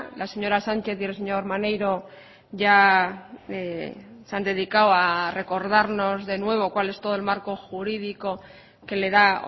la señora sánchez y el señor maneiro ya se han dedicado a recordarnos de nuevo cuál es todo el marco jurídico que le da